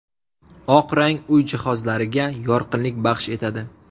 Oq rang uy jihozlariga yorqinlik baxsh etadi.